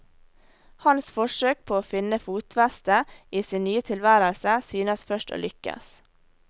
Hans forsøk på å finne fotfeste i sin nye tilværelse synes først å lykkes.